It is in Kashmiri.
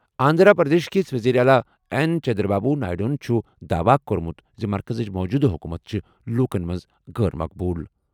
آندھرا پردیش کِس وزیر اعلیٰ این چندرا بابو نائیڈوَن چھُ داواہ کوٚرمُت زِ مرکزٕچ موٗجوٗدٕ حکومت چھِ لوٗکَن منٛز غٲر مقبول۔